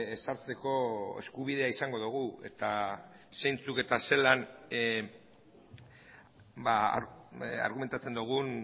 ezartzeko eskubidea izango dugu eta zeintzuk eta zelan argumentatzen dugun